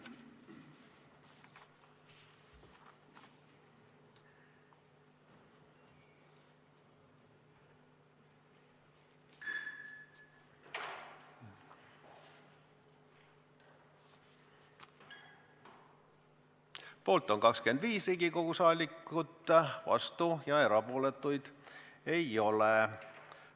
Hääletustulemused Poolt on 25 Riigikogu liiget, vastuolijaid ega erapooletuid ei ole.